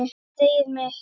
Greyið mitt